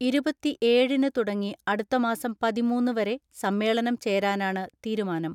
ഇരുപത്തിഏഴിന് തുടങ്ങി അടുത്തമാസം പതിമൂന്ന് വരെ സമ്മേളനം ചേരാനാണ് തീരുമാനം.